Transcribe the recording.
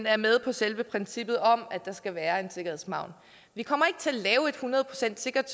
er med på selve princippet om at der skal være en sikkerhedsmargen vi kommer ikke til at lave et hundrede procent sikkert